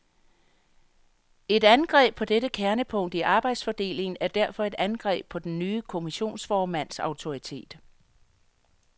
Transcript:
Et angreb på dette kernepunkt i arbejdsfordelingen er derfor et angreb på den nye kommissionsformands autoritet.